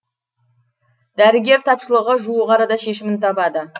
дәрігер тапшылығы жуық арада шешімін табады